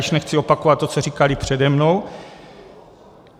Již nechci opakovat to, co říkali přede mnou.